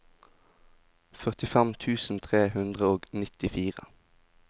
førtifem tusen tre hundre og nittifire